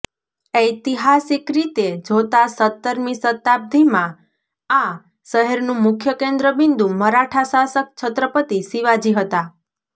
ઐતિહાસિક રીતે જોતાં સત્તરમી શતાબ્દીમાં આ શહેરનું મુખ્ય કેન્દ્ર બિંદુ મરાઠા શાસક છત્રપતિ શિવાજી હતા